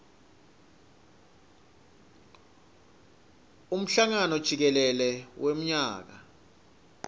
emhlangano jikelele wemnyaka